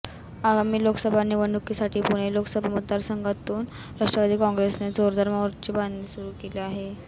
आगामी लोकसभा निवडणूकीसाठी पुणे लोकसभा मतदारसंघातून राष्ट्रवादी काँग्रेसने जोरदार मोर्चे बांधणी सुरू केली आहे